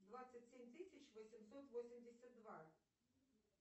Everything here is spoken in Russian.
двадцать семь тысяч восемьсот восемьдесят два